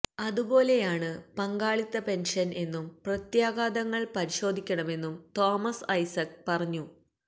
അതുപോലെയാണ് പങ്കാളിത്ത പെന്ഷന് എന്നും പ്രത്യാഘാതങ്ങള് പരിശോധിക്കണമെന്നും തോമസ് ഐസക് പറഞ്ഞു